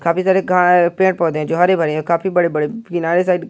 काफी सारे गा पेड़ पौधे हैं जो हरे भरे है काफी बड़े बड़े किनारे साइड --